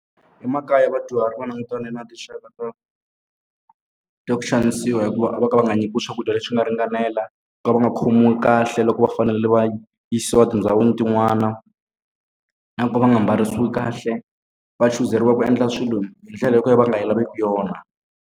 Emakaya vadyuhari va langutane na tinxaka to ta ku xanisiwa hikuva va ka va nga nyikiwi swakudya leswi nga ringanela, vo ka va nga khomiwi kahle loko va fanele va yisiwa etindhawini tin'wana. Na ku ka va nga mbarisiwi kahle, va chuzeriwa ku endla swilo hi ndlela yo ka va nga yi laveki yona.